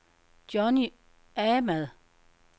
Johnny Ahmad